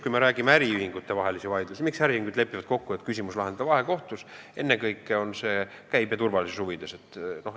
Kui me räägime äriühingutevahelistest vaidlustest, siis tegelikult lepivad äriühingud kokku, et küsimus lahendatakse vahekohtus, ennekõike käibe turvalisuse huvides.